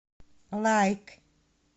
лайк